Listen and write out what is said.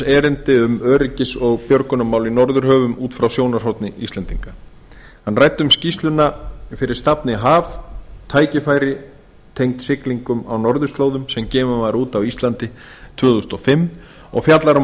erindi um öryggis og björgunarmál í norðurhöfum út frá sjónarhorni íslendinga hann ræddi um skýrsluna fyrir stafni haf tækifæri tengd siglingum á norðurslóðum sem gefin var út á íslandi tvö þúsund og fimm og fjallar um